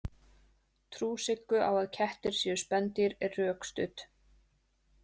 Trú Siggu á að kettir séu spendýr er rökstudd.